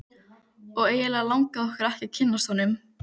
Og eiginlega langaði okkur ekki að kynnast honum.